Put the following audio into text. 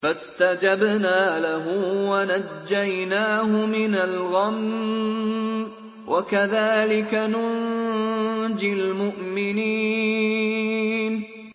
فَاسْتَجَبْنَا لَهُ وَنَجَّيْنَاهُ مِنَ الْغَمِّ ۚ وَكَذَٰلِكَ نُنجِي الْمُؤْمِنِينَ